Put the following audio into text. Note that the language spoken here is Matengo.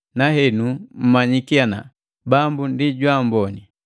nahenu mmanyiki ana: Bambu ndi jwaamboni.